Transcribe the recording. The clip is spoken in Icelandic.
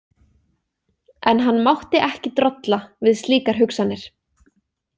En hann mátti ekki drolla við slíkar hugsanir.